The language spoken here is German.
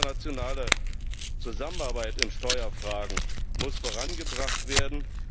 Die internationale Zusammenarbeit in Steuerfragen muss vorangebracht werden.